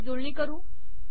याची जुळणी करू